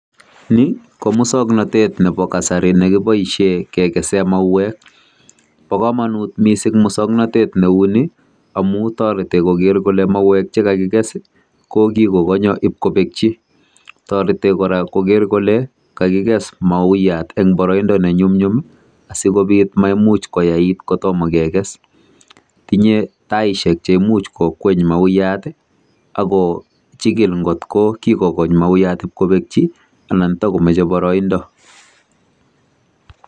Ni ko musoknotet nebo kasari nekiboishien kegesen mauwek. Bo komonut missing musoknotet inguni amun toreti kogeer kole mauwek chekakiges konyolu kobekchii. Toretii kora kogeer kole kagiges mauyat en boroindo nenyumnyimi. Asikobiit maimuch koyait kotomo keges .Tindo anyun taisiek cheimuch kokweny mauyaat. Ako chigil angot ko kikokong mauyat koketyii, anan tokomoche boroindo.